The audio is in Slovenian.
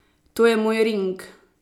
To je moj ring!